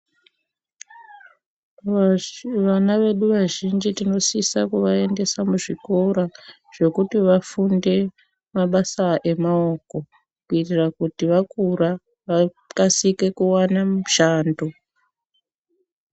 Vana vedu vazhinji tinosisa kuvaendesa muzvikora zvekuti vafunde mabasa emaoko kuitira kuti vakura vakasike kuwana mushando.